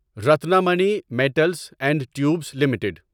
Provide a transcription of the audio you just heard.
Ratnamani metals and tubes limited